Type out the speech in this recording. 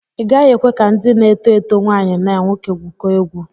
Ị gaghị ekwe ka ndị na-eto eto nwaanyi na nwoke gwụkọọ egwu.